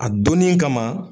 A donni kama